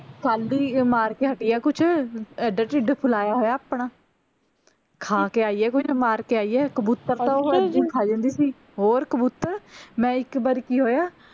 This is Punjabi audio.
ਕੱਲ੍ਹ ਹੀ ਮਾਰ ਕੇ ਹਟੀ ਐ ਕੁਛ ਐਡਾ ਟਿੱਡ ਫੁਲਾਇਆ ਹੋਇਆ ਆਪਣਾ ਖਾ ਕੇ ਆਈ ਐ ਕੁਛ ਮਾਰ ਕੇ ਆਈ ਆ ਕਬੂਤਰ ਖਾ ਜਾਂਦੀ ਸੀ ਹੋਰ ਕਬੂਤਰ ਮੈਂ ਇੱਕ ਵਾਰੀ ਕੀ ਹੋਇਆ